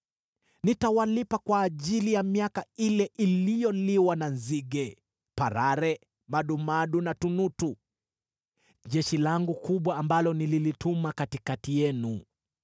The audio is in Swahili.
“Nitawalipa kwa ajili ya miaka ile iliyoliwa na nzige: parare, madumadu na tunutu, jeshi langu kubwa ambalo nililituma katikati yenu.